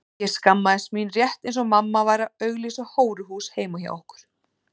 Ég skammaðist mín rétt eins og mamma væri að auglýsa hóruhús heima hjá okkur.